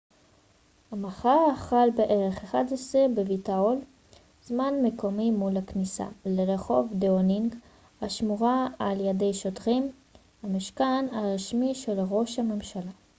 המחאה החלה בערך ב-11:00 זמן מקומי utcּ+1 בווייטהול מול הכניסה לרחוב דאונינג השמורה על ידי שוטרים המשכן הרשמי של ראש הממשלה